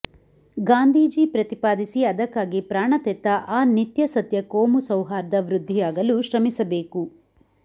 ಗಾಂಧೀಜಿ ಪ್ರತಿಪಾದಿಸಿ ಅದಕ್ಕಾಗಿ ಪ್ರಾಣತೆತ್ತ ಆ ನಿತ್ಯಸತ್ಯ ಕೋಮುಸೌಹಾರ್ದ ವೃದ್ಧಿಯಾಗಲು ಶ್ರಮಿಸಿಬೇಕು